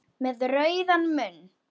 Með rauðan munn.